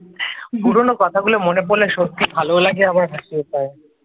পুরনো কথাগুলো মনে পড়লে সত্যি ভালোও লাগে আবার হাসিও পায়।